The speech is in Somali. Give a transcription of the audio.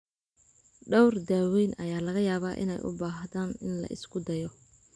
Dhowr daaweyn ayaa laga yaabaa inay u baahdaan in la isku dayo.